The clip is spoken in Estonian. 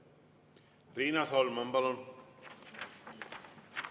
Riina Solman, palun!